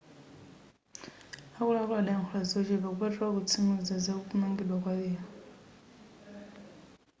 akuluakulu adayankhula zochepa kupatulako kutsimikiza za kumangidwa kwa lero